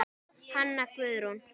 Hanna Guðrún.